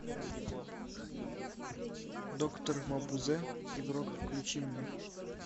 доктор мабузе игрок включи мне